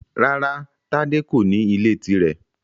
Rárá Tádé kò ní ilé tirẹ.